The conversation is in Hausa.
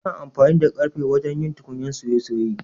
Ana amfani da karfe wajen yin tukunyan soye-soye.